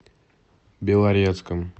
белорецком